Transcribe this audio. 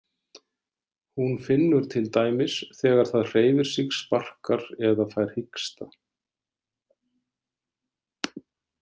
Hún finnur til dæmis þegar það hreyfir sig, sparkar eða fær hiksta.